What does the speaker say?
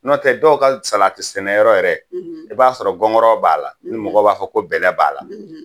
N'o tɛ dɔw ka salati sɛnɛyɔrɔ yɛrɛ, , i b'a sɔrɔ gɔngɔrɔw b'a la, ni mɔgɔw b'a fɔ ko bɛlɛ b'a la.